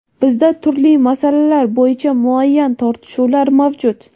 Bizda turli masalalar bo‘yicha muayyan tortishuvlar mavjud.